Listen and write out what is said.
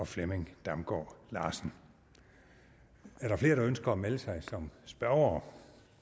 flemming damgaard larsen er der flere der ønsker at melde sig som spørgere